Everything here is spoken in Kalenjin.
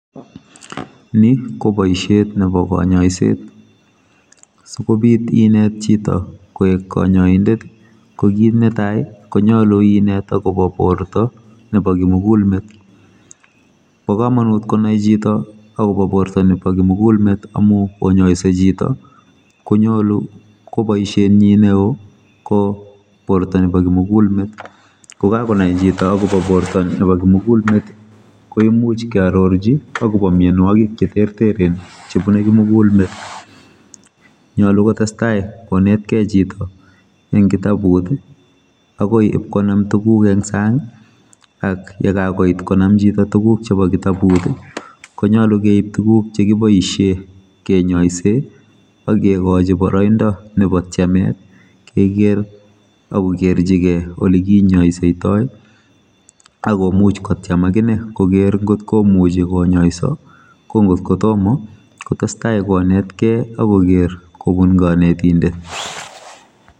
Ni koboisiet nebo kanyoiset sikobit inet chito koek kanyoindet kokit netai konyolu inet akobo borto nebo kimugulet. Bo kamonut konai chito akobo borto nebo kimugulmet amu konyoise chito konyolu koboisietnyi neo koborto nebo kimugulmet. Kokakonai chito akobo borto nebo kimugulmet koimuch kiarorchi akobo mianwokik che terteren chebune kimugulmet nyolu kotestai konetkei chito eng kitabut agoi konam tuguk eng sang ak yekakoit konam chito tuguk eng kitabut konyalu keib tuguk chekiboisie kenyoise akekochi boroindo nebo tyemet kekeer ako kerchigei olekinyoisetoi agomuch kotyem akine kokeer kotkomuchi konyoiso kongotko tomo kotestai konetkei akoker kobun kanetindet